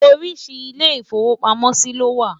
oríṣiríṣi ilé ifowo pàmò sí ló wà